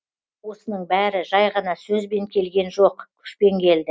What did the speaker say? осының бәрі жай ғана сөзбен келген жоқ күшпен келді